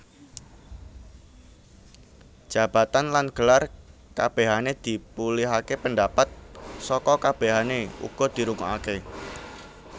Jabatan lan gelar kabehane dipulihake pendapat saka kabehane uga dirungokake